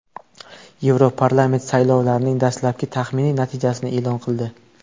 Yevroparlament saylovlarning dastlabki taxminiy natijasini e’lon qildi.